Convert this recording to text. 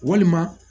Walima